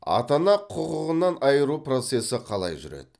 ата ана құқығынан айыру процесі қалай жүреді